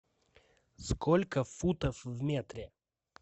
сколько футов в метре